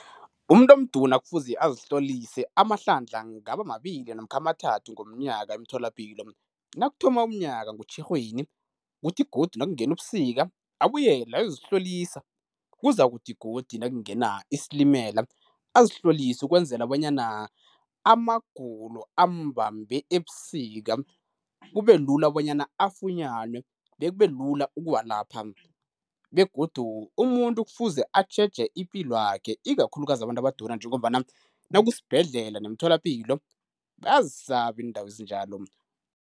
Umuntu omduna kufuze azihlolise amahlandla angaba mabili namkha amathathu ngomnyaka emtholapilo. Nakuthoma umnyaka ngoTjhirhweni, kuthi godu nakungena ubusika abuyele ayozihlolisa kuzakuthi godu nakungena isilimela azihlolise ukwenzela bonyana amagulo amubambe ebusika kube lula bonyana afunyanwe bekube lula ukuwalapha. Begodu umuntu kufuze atjheje ipilo yakhe ikakhulukazi abantu abaduna njengombana nakusibhedlela nemtholapilo bayazisaba iindawo ezinjalo.